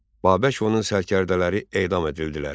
Babək onun sərkərdələri edam edildilər.